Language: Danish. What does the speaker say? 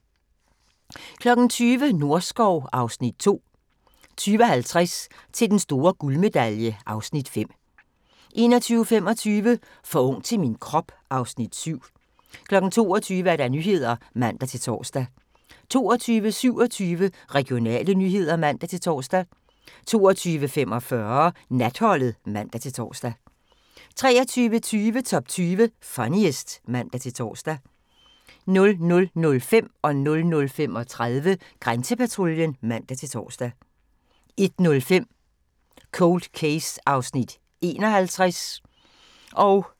20:00: Norskov (Afs. 2) 20:50: Til den store guldmedalje (Afs. 5) 21:25: For ung til min krop (Afs. 7) 22:00: Nyhederne (man-tor) 22:27: Regionale nyheder (man-tor) 22:45: Natholdet (man-tor) 23:20: Top 20 Funniest (man-tor) 00:05: Grænsepatruljen (man-tor) 00:35: Grænsepatruljen (man-tor) 01:05: Cold Case (51:156)